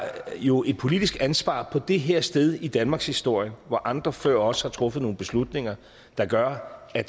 jo et politisk ansvar på det her sted i danmarkshistorien hvor andre før os har truffet nogle beslutninger der gør at